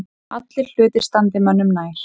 Aðrir hlutir standi mönnum nær.